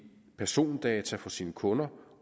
persondata for sine kunder